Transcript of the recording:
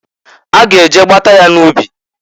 A ga eje gbata ya n'ubi.